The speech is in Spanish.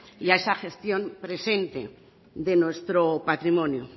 y a esa gestión presente de nuestro patrimonio